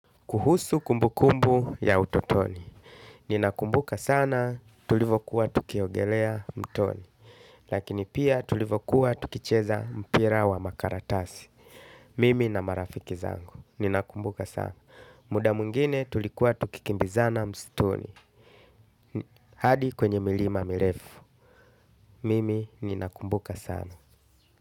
Kuhusu kumbu kumbu ya utotoni. Ninakumbuka sana tulivokuwa tukiogelea mtoni. Lakini pia tulivokuwa tukicheza mpira wa makaratasi. Mimi na marafiki zangu. Ninakumbuka sana. Muda mungine tulikuwa tukikimbizana mstuni. Hadi kwenye milima mirefu. Mimi ninakumbuka sana.